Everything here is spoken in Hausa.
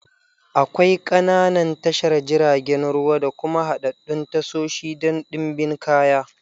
Akwai ƙananan tashar jiragen ruwa da kuma haɗaɗɗun tashoshi don ɗimbin kaya.